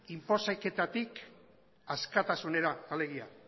inposaketatik askatasunera alegia